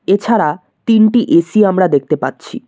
এছাড়া তিনটি এ_সি আমরা দেখতে পাচ্ছি।